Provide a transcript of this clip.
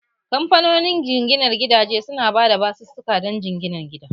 Kamfanonin jinginar gidaje su na ba da basusuka don sayan gida